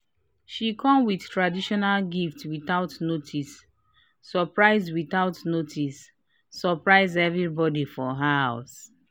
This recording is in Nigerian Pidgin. she come with traditional gifts without notice surprise without notice surprise everybody for house